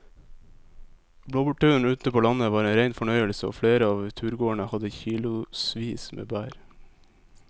Blåbærturen ute på landet var en rein fornøyelse og flere av turgåerene hadde kilosvis med bær.